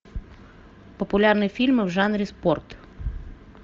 популярные фильмы в жанре спорт